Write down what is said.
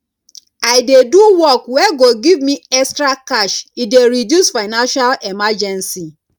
i dey do work wey go give me extra cash e dey reduce financial emergency